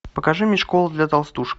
покажи мне школа для толстушек